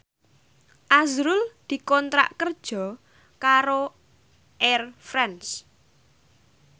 azrul dikontrak kerja karo Air France